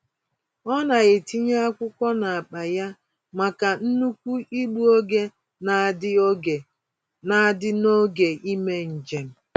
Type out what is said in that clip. Ọ na-etinye akwụkwọ n'akpa ya maka nnukwu igbu oge n'adị oge n'adị n'oge ímé njem.